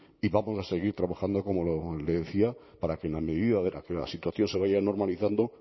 y vamos a seguir trabajando como le decía para que en la medida en que la situación se vaya normalizando